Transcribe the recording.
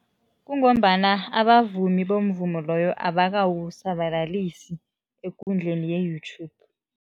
Kungombana abavumi bomvumo loyo abakawusabalalisi ekundleni ye-YouTube.